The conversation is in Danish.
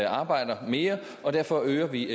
arbejder mere og derfor øger vi